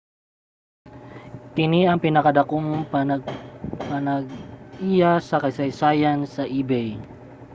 kini ang pinadakong pagpanag-iya sa kasaysayan sa ebay